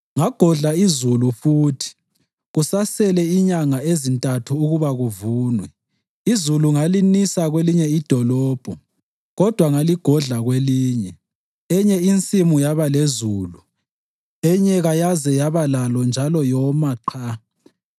“Ngagodla izulu futhi kusasele inyanga ezintathu ukuba kuvunwe. Izulu ngalinisa kwelinye idolobho kodwa ngaligodla kwelinye. Enye insimu yaba lezulu, enye kayaze yaba lalo njalo yoma qha.